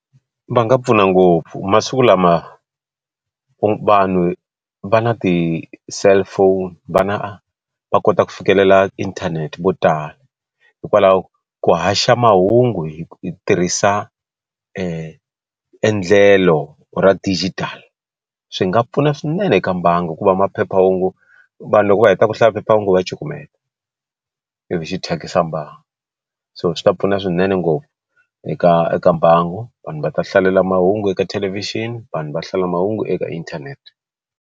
Va nga pfuna ngopfu masiku lama vanhu va na ti cellphone vana va kota ku fikelela inthanete vo tala hikwalaho ka ku haxa mahungu hi tirhisa endlelo ra digital swi nga pfuna swinene eka mbangu hikuva maphephahungu vanhu loko va heta ku hlaya phephahungu va cukumeta i vi xi thyakisa mbangu so swi ta pfuna swinene ngopfu eka eka mbangu vanhu va ta hlalela mahungu eka thelevhixini vanhu va hlalela mahungu eka inthanete.